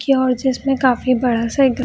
की ओर जिसमे काफी बड़ा सा एक घ --